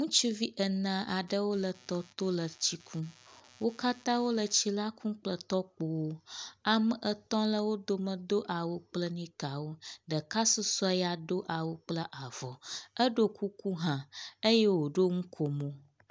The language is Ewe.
Ŋutsuvi ene aɖewo le tɔto le tsi kum. Wo katã wo le tsi la kum kple tɔkpowo. Ame etɔ̃ le wo dome do awu kple nika wo. Ɖeka susɔe ya do awu kple avɔ. Eɖo kuku hã eye woɖo nukomo.